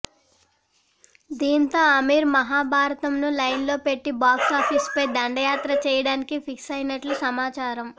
దీంతో అమిర్ మహాభారతంను లైన్ లో పెట్టి బాక్స్ ఆఫీస్ పై దండయాత్ర చేయడానికి ఫిక్స్ అయినట్లు సమాచారం